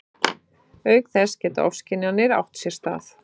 Auk þess geta ofskynjanir átt sér stað.